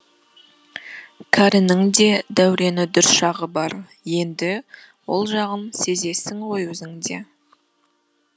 кәрінің де дәурені дүр шағы бар енді ол жағын сезесің ғой өзің де